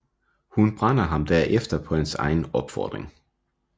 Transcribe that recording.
Hun brænder ham derefter på hans egen opfordring